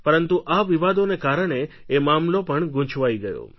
પરંતુ આ વિવાદોને કારણે એ મામલો પણ ગૂંચવાઈ ગયો